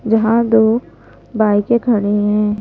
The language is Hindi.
जहां दो बाइके खड़े है।